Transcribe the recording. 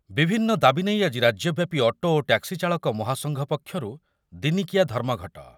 ବିଭିନ୍ନ ଦାବୀ ନେଇ ଆଜି ରାଜ୍ୟ ବ୍ୟାପୀ ଅଟୋ ଓ ଟ୍ୟାକ୍ସି ଚାଳକ ମହାସଂଘ ପକ୍ଷରୁ ଦିନିକିଆ ଧର୍ମଘଟ ।